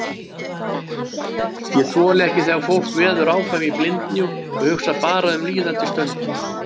Ég þoli ekki þegar fólk veður áfram í blindni og hugsar bara um líðandi stund.